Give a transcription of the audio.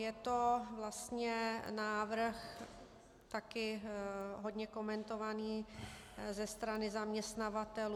Je to vlastně návrh také hodně komentovaný ze strany zaměstnavatelů.